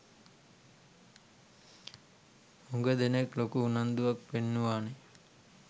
හුග දෙනෙක් ලොකු උනන්දුවක් පෙන්නුවනේ.